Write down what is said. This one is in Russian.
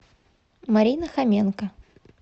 марина хоменко